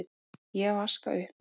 Ég vaska upp.